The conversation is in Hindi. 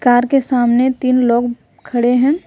कार के सामने तीन लोग खड़े हैं।